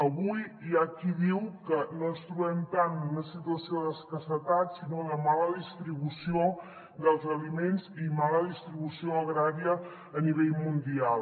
avui hi ha qui diu que no ens trobem tant en una situació d’escassetat sinó de mala distribució dels aliments i de mala distribució agrària a nivell mundial